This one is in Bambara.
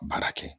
Baara kɛ